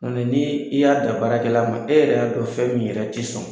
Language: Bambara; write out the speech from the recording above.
Nka mɛ ni i y'a dan baarakɛla ma e yɛrɛ y'a dɔn fɛn min yɛrɛ ti sɔn